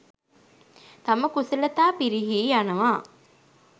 තම කුසලතා පිරිහී යනවා.